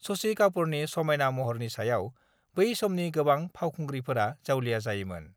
शशि कापुरनि समायना महरनि सायाव बै समनि गोबां फावखुंग्रिफोरा जावलिया जायोमोन।